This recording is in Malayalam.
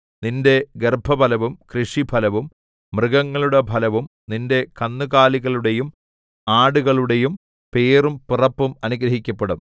നിന്റെ ഗർഭഫലവും കൃഷിഫലവും മൃഗങ്ങളുടെ ഫലവും നിന്റെ കന്നുകാലികളുടെയും ആടുകളുടെയും പേറും പിറപ്പും അനുഗ്രഹിക്കപ്പെടും